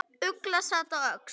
Ugla sat á öxl.